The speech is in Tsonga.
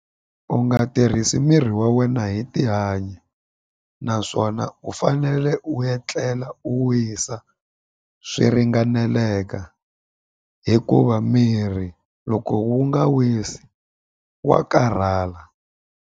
U nga tirhisi mirhi wa wena hi tihanyi naswona u fanele u etlela u wisa swi ringaneleka hikuva mirhi loko wu nga wisi wa karhala.